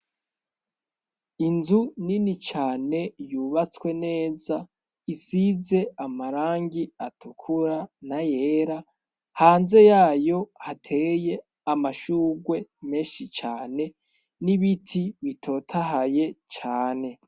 Inzu nini cane yubatswe neza, isize amarangi atukura n'ayera, hanze yayo hateye amashurwe menshi cane n'ibiti bitotahaye cane.